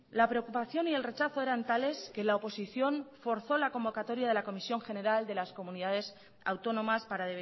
la preocupación y el rechazo eran tales que la oposición forzó la convocatoria de la comisión general de las comunidades autónomas para